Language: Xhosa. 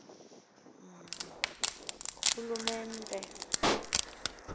rhulumente